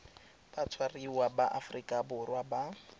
batshwariwa ba aforika borwa ba